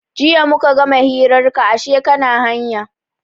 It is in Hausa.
Jiya muka gama hirar ka ashe kana hanya.